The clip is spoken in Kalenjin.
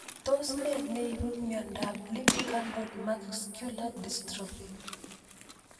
Tos ne neipu miondop Limb girdle muscular dystrophy